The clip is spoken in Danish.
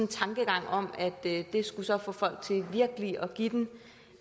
tankegang om at det så skulle få folk til virkelig at give den